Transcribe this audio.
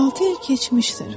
Altı il keçmişdir.